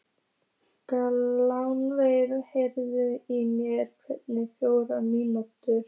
Gunnveig, heyrðu í mér eftir fjórtán mínútur.